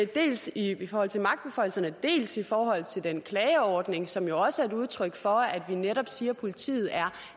dels i forhold til magtbeføjelserne dels i forhold til den klageordning som jo også er et udtryk for at vi netop siger at politiet er